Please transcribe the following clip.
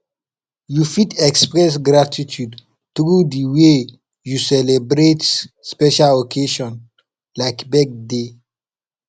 you fit express gratitude through di way you celebrate special occasion like birthday